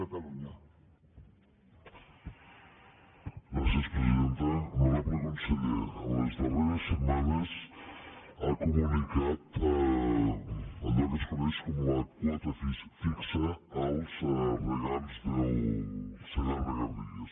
honorable conseller en les darreres setmanes ha comunicat allò que es coneix com la quota fixa als regants del segarra garrigues